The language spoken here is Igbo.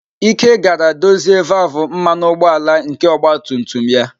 Ike gara dozie valvụ mmanụ ụgbọala nke ọgba tum tum ya.